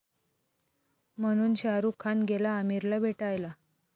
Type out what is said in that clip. ...म्हणून शाहरूख खान गेला आमिरला भेटायला!